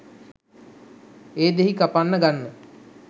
ඒ දෙහි කපන්න ගන්න